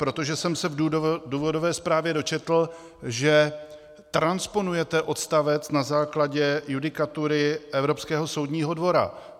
Protože jsem se v důvodové zprávě dočetl, že transponujete odstavec na základě judikatury Evropského soudního dvora.